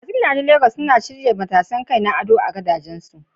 Masu gidajen Legas akai-akai suna shirya matashin kai na ado akan gadajensu.